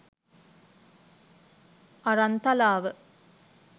Aranthalawa